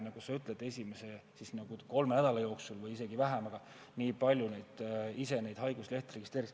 Nagu sa ütlesid, esimese kolme nädala või isegi vähema aja jooksul registreeris nii ja nii palju inimesi ise oma haiguslehe.